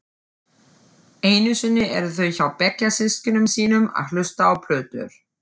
Einusinni eru þau hjá bekkjarsystkinum sínum að hlusta á plötur.